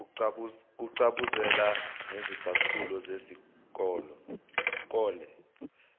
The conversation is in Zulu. kucabuzela ngezicathulo zesikole